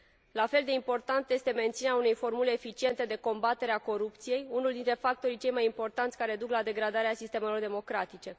La fel de importantă este menținerea unei formule eficiente de combatere a corupției, unul dintre factorii cei mai importanți care duc la degradarea sistemelor democratice.